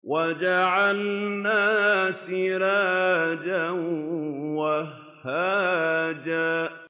وَجَعَلْنَا سِرَاجًا وَهَّاجًا